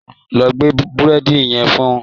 Lọ gbé Búrẹ́dì yẹn fún un